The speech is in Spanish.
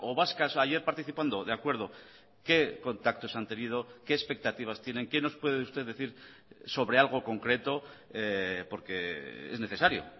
vascas ayer participando de acuerdo qué contactos han tenido qué expectativas tienen qué nos puede usted decir sobre algo concreto porque es necesario